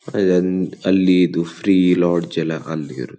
ಅಲೊಂದು ಅಲ್ಲಿದು free lodge ಎಲ್ಲ ಅಲ್ಲಿ ಇರೋದು